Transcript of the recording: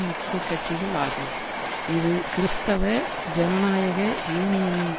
முக்கிய கட்சிகள் ஆகும் இது கிறிஸ்தவ ஜனநாயக யூனியனின்